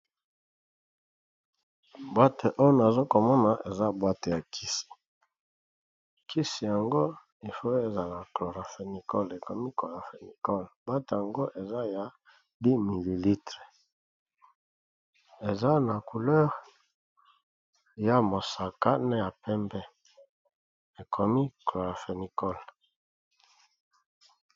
Bwate oyo ozokomona eza bwate ya kisi, kisi yango eza clorapenicol ekomi corapenicol. bwate yango eza ya 1 ml eza na Langi ya mosaka ,ya pembe ekomi corapenicol.